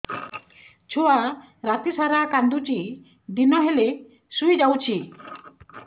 ଛୁଆ ରାତି ସାରା କାନ୍ଦୁଚି ଦିନ ହେଲେ ଶୁଇଯାଉଛି